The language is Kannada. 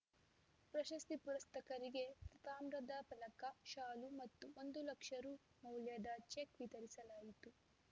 ಪ್ರಶಸ್ತಿ ಪುರಸ್ಕೃತರಿಗೆ ತಾಮ್ರದ ಫಲಕ ಶಾಲು ಮತ್ತು ಒಂದು ಲಕ್ಷ ರು ಮೌಲ್ಯದ ಚೆಕ್‌ ವಿತರಿಸಲಾಯಿತು